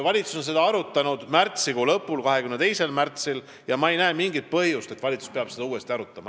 Valitsus on seda arutanud märtsikuu lõpus, 22. märtsil, ja ma ei näe mingit põhjust, miks peaks valitsus seda uuesti arutama.